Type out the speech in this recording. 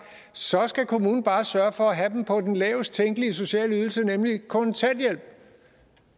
så skal kommunen bare sørge for at have dem på den lavest tænkelige sociale ydelse nemlig kontanthjælp